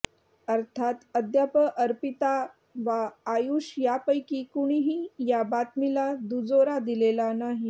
अर्थात अद्याप अर्पिता वा आयुष यापैकी कुणीही या बातमीला दुजोरा दिलेला नाही